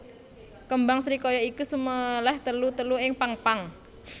Kembang srikaya iki suméléh telu telu ing pang pang